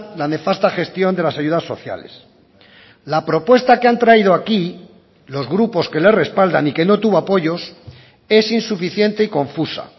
la nefasta gestión de las ayudas sociales la propuesta que han traído aquí los grupos que le respaldan y que no tuvo apoyos es insuficiente y confusa